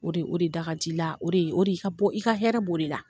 O de o de da kad' i' la, o de o de i ka bɔ, i ka hɛrɛ bɔ de la.